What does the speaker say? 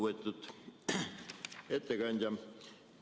Lugupeetud ettekandja!